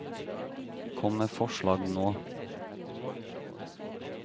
Kom med forslag nå.